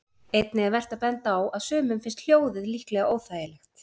Einnig er vert að benda á að sumum finnst hljóðið líklega óþægilegt.